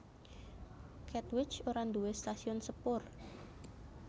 Katwijk ora nduwé stasiun sepur